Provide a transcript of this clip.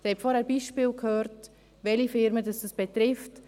Sie haben vorhin gehört, welche Unternehmen es betrifft.